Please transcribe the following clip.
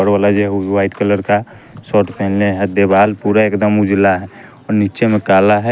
और ओला जे उ व्हाइट कलर का शर्ट पहने है देवाल पूरा एकदम उजला और नीचे में काला है।